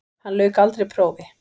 Hann lauk aldrei prófi.